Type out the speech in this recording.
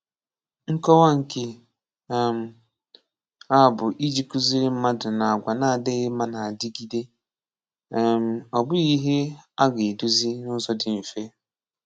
Nkòwà̀ Nkè um à bụ̀ ijì kùzìrì̀ mmadụ̀ nà àgwà̀ nà-adị̀ghị̀ mmà nà-adìgídè̀, um ọ̀ bụ̀ghị̀ ihè à gà-edozi n’ụ̀zọ̀ dị̀ mfè.